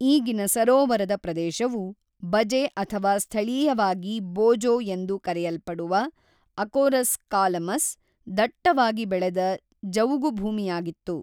ಈಗಿನ ಸರೋವರದ ಪ್ರದೇಶವು ಬಜೆ ಅಥವಾ ಸ್ಥಳೀಯವಾಗಿ ಬೋಜೋ ಎಂದು ಕರೆಯಲ್ಪಡುವ, ಅಕೋರಸ್ ಕಾಲಮಸ್‌, ದಟ್ಟವಾಗಿ ಬೆಳೆದ ಜವುಗುಭೂಮಿಯಾಗಿತ್ತು.